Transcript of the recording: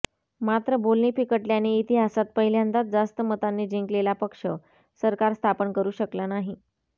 मात्र बोलणी फिकटल्याने इतिहासात पहिल्यांदाच जास्त मतांनी जिंकलेला पक्ष सरकार स्थापन करू शकला नाही